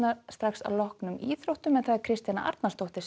að loknum íþróttum Kristjana Arnarsdóttir